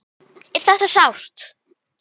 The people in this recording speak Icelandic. Er þetta sárt?